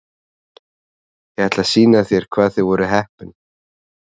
Ég ætla að sýna þér hvað þið voruð heppin.